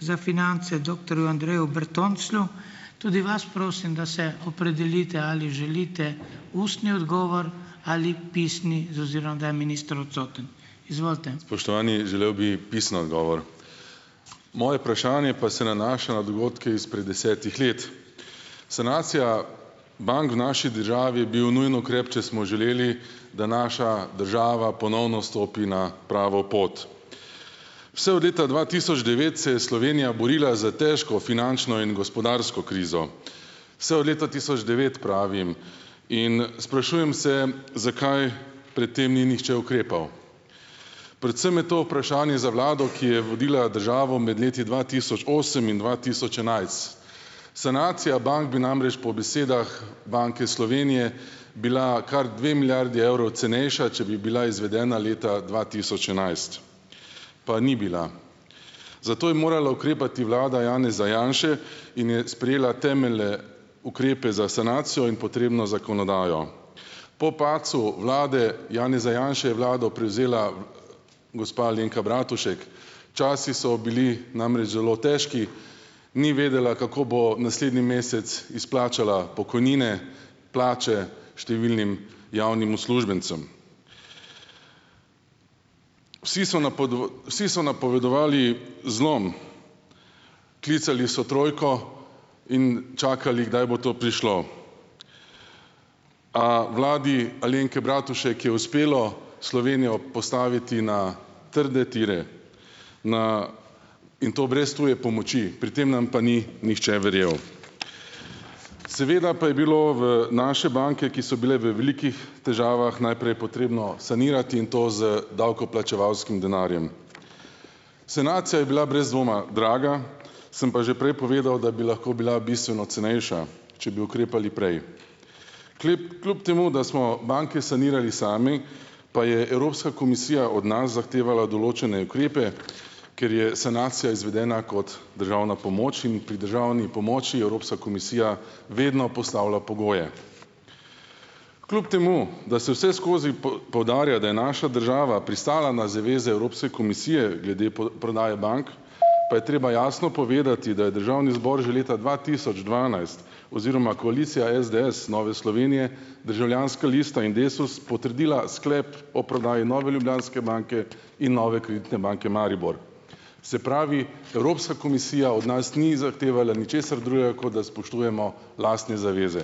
za finance, doktorju Andreju Bertonclju, tudi vas prosim, da se opredelite, ali želite ustni odgovor ali pisni, z ozirom, da je minister odsoten. Izvolite. Spoštovani, želel bi pisni odgovor. Moje vprašanje pa se nanaša na dogodke izpred desetih let. Sanacija bank v naši državi bil nujen ukrep, če smo želeli, da naša država ponovno stopi na pravo pot. Vse od leta dva tisoč devet se je Slovenija borila za težko finančno in gospodarsko krizo. Vse od leta tisoč devet pravim. In sprašujem se, zakaj pred tem ni nihče ukrepal. Predvsem je to vprašanje za vlado, ki je vodila državo med leti dva tisoč osem in dva tisoč enajst. Sanacija bank bi namreč po besedah Banke Slovenije bila kar dve milijardi evrov cenejša, če bi bila izvedena leta dva tisoč enajst. Pa ni bila. Zato je morala ukrepati vlada Janeza Janše in je sprejela temelje ukrepe za sanacijo in potrebno zakonodajo. Po padcu vlade Janeza Janše je vlado prevzela gospa Alenka Bratušek. Časi so bili namreč zelo težki. Ni vedela, kako bo naslednji mesec izplačala pokojnine, plače številnim javnim uslužbencem. Vsi so vsi so napovedovali zlom, klicali so trojko in čakali, kdaj bo to prišlo. A vladi Alenke Bratušek je uspelo Slovenijo postaviti na trde tire. Na, in to brez tuje pomoči. Pri tem nam pa ni nihče verjel. Seveda pa je bilo v naše banke, ki so bile v velikih težavah, najprej je potrebno sanirati in to z davkoplačevalskim denarjem. Sanacija je bila brez dvoma draga, sem pa že prej povedal, da bi lahko bila bistveno cenejša, če bi ukrepali prej. kljub temu da smo banke sanirali sami, pa je Evropska komisija od nas zahtevala določene ukrepe, ker je sanacija izvedena kot državna pomoč in pri državni pomoči Evropska komisija vedno postavlja pogoje. Kljub temu da se vse skozi poudarja, da je naša država pristala na zaveze Evropske komisije glede prodaje bank, pa je treba jasno povedati, da je državni zbor že leta dva tisoč dvanajst oziroma koalicija SDS, Nove Slovenije, Državljanska lista in Desus potrdila sklep o prodaji Nove Ljubljanske banke in Nove kreditne banke Maribor. Se pravi, Evropska komisija od nas ni zahtevala ničesar drugega, kot da spoštujemo lastne zaveze.